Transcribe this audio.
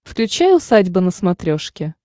включай усадьба на смотрешке